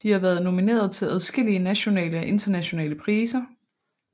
De har været nomineret til adskillige nationale og internationale priser